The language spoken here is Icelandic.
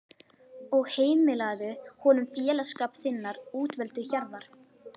og heimilaðu honum félagsskap þinnar útvöldu hjarðar.